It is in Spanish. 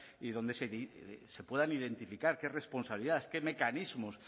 y donde se puedan identificar qué responsabilidades qué mecanismos